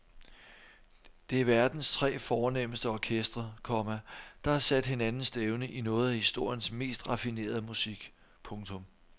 Det er verdens tre fornemste orkestre, komma der har sat hinanden stævne i noget af historiens mest raffinerede musik. punktum